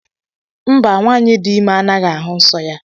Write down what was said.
Mba, nwanyị dị ime anaghị ahụ nsọ ya.